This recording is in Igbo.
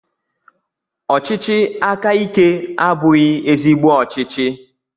Ọchịchị aka ike abụghị ezigbo ọchịchị